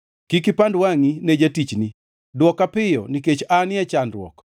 Kik ipand wangʼi ne jatichni; dwoka piyo, nikech anie chandruok.